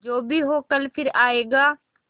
जो भी हो कल फिर आएगा